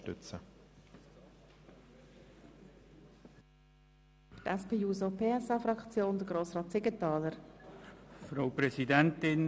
Für die SP-JUSO-PSA-Fraktion hat Grossrat Siegenthaler das Wort.